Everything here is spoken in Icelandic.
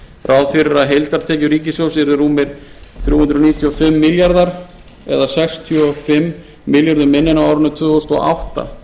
ráð fyrir að heildartekjur ríkissjóðs yrðu rúmir þrjú hundruð níutíu og fimm milljarðar eða sextíu og fimm milljörðum minna en á árinu tvö þúsund og átta